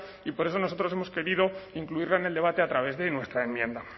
y por eso nosotros hemos querido incluirla en el debate a través de nuestra enmienda